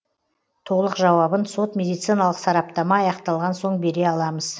толық жауабын сот медициналық сараптама аяқталған соң бере аламыз